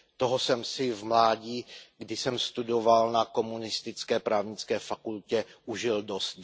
Toho jsem si v mládí, kdy jsem studoval na komunistické právnické fakultě, užil dost.